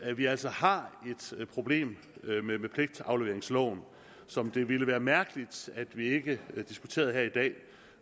at vi altså har et problem med pligtafleveringsloven som det ville være mærkeligt at vi ikke diskuterede her i dag